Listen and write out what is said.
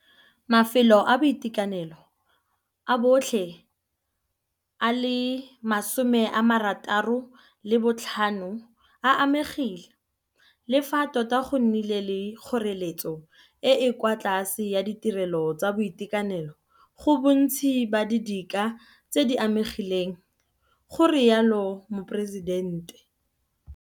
Mafelo a boitekanelo a botlhe a le 66 a amegile, le fa tota go nnile le kgoreletso e e kwa tlase ya ditirelo tsa boitekanelo go bontsi ba didika tse di amegileng, go rialo Moporesidente.